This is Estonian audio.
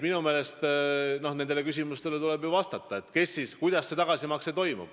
Minu meelest tuleb vastata küsimustele, kuidas see tagasimakse ikkagi toimub.